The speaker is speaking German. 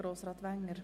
der SiK.